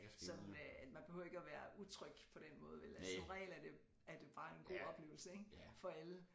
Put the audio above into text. Sådan øh man behøver ikke at være utryg på den måde vel altså som regel er det er det bare en god oplevelse ik for alle